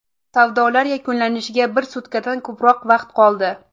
Savdolar yakunlanishiga bir sutkadan ko‘proq vaqt qoldi.